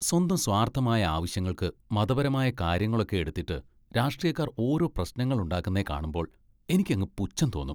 സ്വന്തം സ്വാർത്ഥമായ ആവശ്യങ്ങൾക്ക് മതപരമായ കാര്യങ്ങളൊക്കെ എടുത്തിട്ട് രാഷ്ട്രീയക്കാർ ഓരോ പ്രശ്നങ്ങൾ ഉണ്ടാക്കുന്നേ കാണുമ്പോൾ എനിക്കങ്ങ് പുച്ഛം തോന്നും.